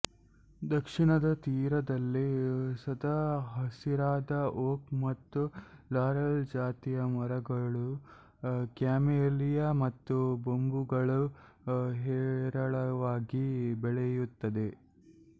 ದಕ್ಷಿಣದ ತೀರದಲ್ಲಿ ಸದಾ ಹಸಿರಾದ ಓಕ್ ಮತ್ತು ಲಾರೆಲ್ ಜಾತಿಯ ಮರಗಳೂ ಕ್ಯಾಮಿಲಿಯ ಮತ್ತು ಬೊಂಬುಗಳೂ ಹೇರಳವಾಗಿ ಬೆಳೆಯುತ್ತವೆ